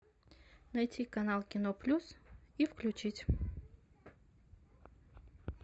найти канал кино плюс и включить